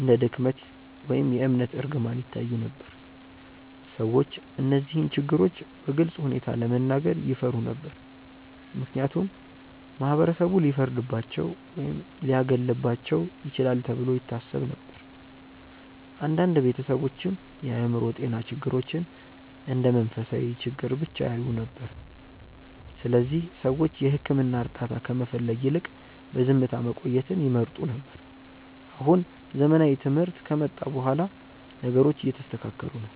እንደ ድክመት ወይም የእምነት እርግማን ይታዩ ነበር። ሰዎች እነዚህን ችግሮች በግልፅ ሁኔታ ለመናገር ይፈሩ ነበር፣ ምክንያቱም ማህበረሰቡ ሊፈርድባቸው ወይም ሊያገለልባቸው ይችላል ተብሎ ይታሰብ ነበር። አንዳንድ ቤተሰቦችም የአእምሮ ጤና ችግሮችን እንደ መንፈሳዊ ችግር ብቻ ያዩ ነበር፣ ስለዚህ ሰዎች የሕክምና እርዳታ ከመፈለግ ይልቅ በዝምታ መቆየትን ይመርጡ ነበር። አሁን ዘመናዊ ትምህርት ከመጣ በኋላ ነገሮቹ እየተስተካከሉ ነው።